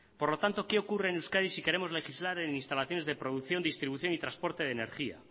por lo tanto qué ocurre en euskadi si queremos legislar en instalaciones de producción distribución y transporte de energía